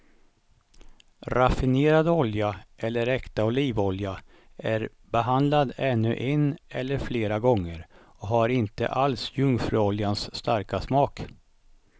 Raffinerad olja eller äkta olivolja är behandlad ännu en eller flera gånger och har inte alls jungfruoljans starka smak.